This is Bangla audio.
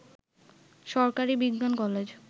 সরকারি বিজ্ঞান কলেজ